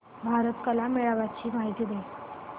भारत कला मेळावा ची माहिती दे